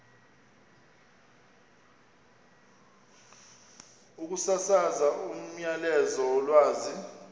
ukusasaza umyalezo wolwazi